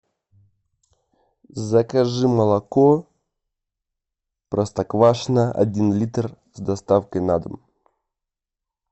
закажи молоко простоквашино один литр с доставкой на дом